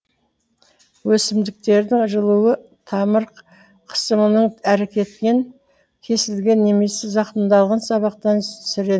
өсімдіктердің жылауы тамыр қысымының әрекетінен кесілген немесе зақымдалған сабақтан сірененің бөлінуі